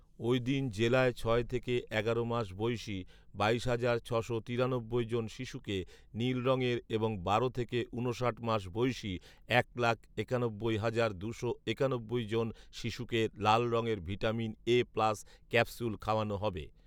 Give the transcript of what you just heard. ওই দিন জেলায় ছয় থেকে এগারো মাস বয়সী বাইশ হাজার ছশো তিরানব্বই জন শিশুকে নীল রঙয়ের এবং বারো থেকে ঊনষাট মাস বয়সী এক লাখ একানব্বই হাজার দুশো একানব্বই জন শিশুকে লাল রঙয়ের ভিটামিন এ প্লাস ক্যাপসুল খাওয়ানো হবে